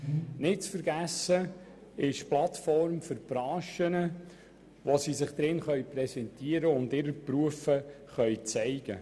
Nicht zu vergessen ist die Plattform für die Branchen, auf welcher sie sich präsentieren und ihre Berufe zeigen können.